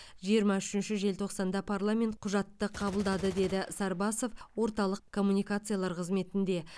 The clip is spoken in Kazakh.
жиырма үшінші желтоқсанда парламент құжатты қабылдады деді сарбасов орталық коммуникациялар қызметінде